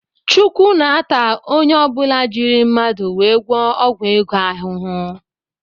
chukwu ns-ata ọnye ọbula jírí mmadụ wee gwụo ọgwụ ego ahụhụ.